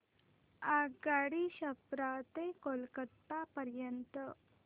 आगगाडी छपरा ते कोलकता पर्यंत